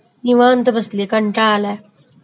निवांत बसलिय, कंटाळा आलाय.